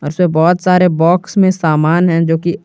और इसमें बहुत सारे बॉक्स में समान हैं जो की--